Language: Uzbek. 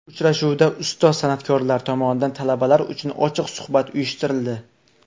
Uchrashuvda ustoz san’atkorlar tomonidan talabalar uchun ochiq suhbat uyushtirildi.